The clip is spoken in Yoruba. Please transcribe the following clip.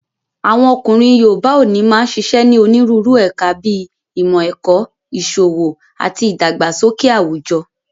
Àwọn ọkùnrin yoòbá òní máa n ṣiṣẹ́ ní onírúurú ẹ̀ka bíi ìmọ̀-ẹ̀kọ́, ìṣòwò ati ìdàgbàsókè àwùjọ